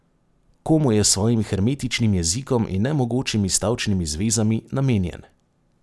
Komu je s svojim hermetičnim jezikom in nemogočimi stavčnimi zvezami namenjen?